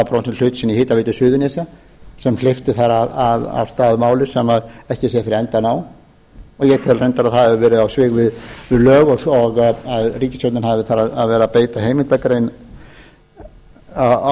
hlut sinn í hitaveitu suðurnesja sem hleypti þar af stað máli sem ekki sér fyrir endann á og ég tel reyndar að það hafi verið á svig við lög og að ríkisstjórnin hafi þar verið að beita heimildargrein með